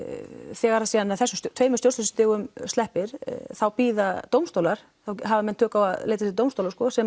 þegar síðan þessum tveimur stjórnsýslustigum sleppir þá bíða dómstólar þá hafa menn tök á að leita sér dómstóla sem